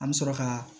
An bɛ sɔrɔ ka